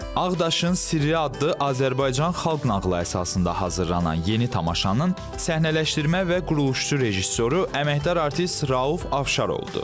Ağdaşın Sirri adlı Azərbaycan xalq nağılı əsasında hazırlanan yeni tamaşanın səhnələşdirmə və quruluşçu rejissoru əməkdar artist Rauf Afşar oldu.